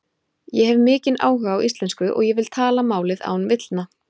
Ég hef mikinn áhuga á íslensku og ég vil tala málið án villna.